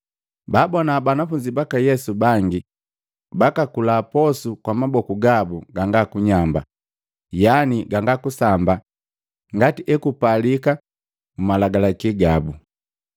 Baabona banafunzi baka Yesu bangi bakakula posu kwa maboku gabu ganga kunyamba, yaani ganga kusamba ngati ekupalika mmalagalaki gabu.